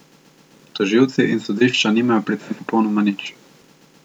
Tožilci in sodišča nimajo pri tem popolnoma nič.